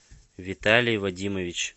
виталий вадимович